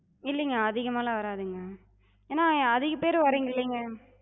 இல்லிங்க அதிகமாலா வராதுங்க. ஏனா அதிக பேர் வரிங்கல்லிங்க.